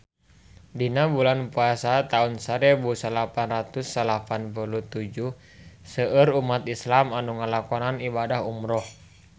Dina bulan Puasa taun sarebu salapan ratus salapan puluh tujuh seueur umat islam nu ngalakonan ibadah umrah